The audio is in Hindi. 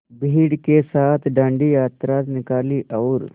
भीड़ के साथ डांडी यात्रा निकाली और